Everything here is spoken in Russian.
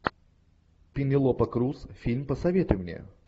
пенелопа круз фильм посоветуй мне